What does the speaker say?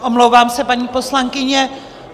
Omlouvám se, paní poslankyně.